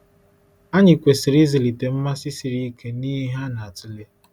Anyị kwesịrị ịzụlite mmasị siri ike n’ihe a na-atụle.